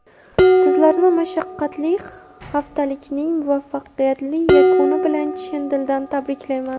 Sizlarni mashaqqatli haftalikning muvaffaqiyatli yakuni bilan chin dildan tabriklayman!.